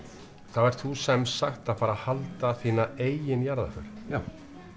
þá ertu þú semsagt að fara að halda þína eigin jarðarför já